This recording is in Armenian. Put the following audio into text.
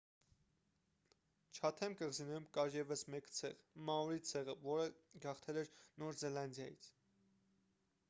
չաթեմ կղզիներում կար ևս մեկ ցեղ մաորի ցեղը որը գաղթել է նոր զելանդիայից